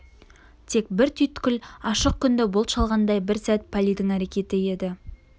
тек бір түйткіл ашық күнді бұлт шалғандай бір сәт палийдің әрекеті еді